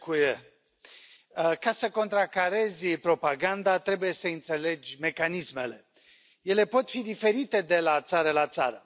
Domnule președinte, ca să contracarezi propaganda trebuie să i înțelege mecanismele. Ele pot fi diferite de la țară la țară.